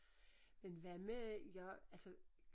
Men hvad med jeg altså